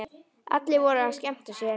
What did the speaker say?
Allir voru að skemmta sér.